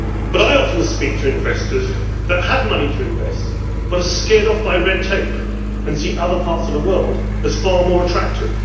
But I often speak to investors who have money to invest, but are scared off by red tape and see other parts of the world as far more attractive.